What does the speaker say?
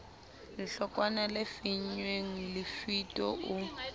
lehlokwana le finnweng lefito o